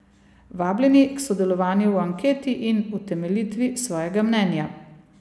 Vabljeni k sodelovanju v anketi in utemeljitvi svojega mnenja.